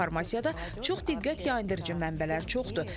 İnformasiyada çox diqqət yayındırıcı mənbələr çoxdur.